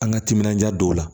An ka timinanja don o la